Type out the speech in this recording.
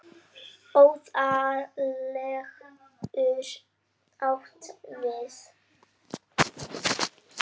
Óðal getur átt við